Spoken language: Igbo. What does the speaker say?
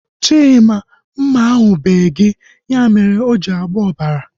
Chima, mma ahu bee gị. Ya mere o ji na-agba ọbara